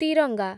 Tiranga